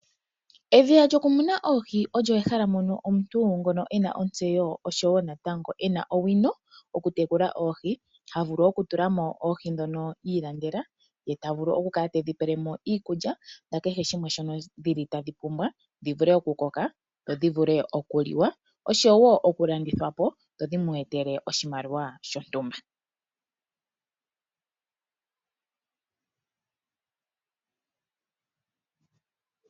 Edhiya lyoku muna oohi olyo ehala mono omuntu ngono ena otseyo oshowo natango ena owino oku tekula oohi. Ha vulu oku tulamo oohi dhono ilandela ye tavulu oku kala tedhi pelemo iikulya nakehe shimwe shono dhili tadhi pumbwa dhi vule oku koka dho dhivule oku liwa oshowo oku landithwapo dho dhimwetele oshimaliwa shontumba.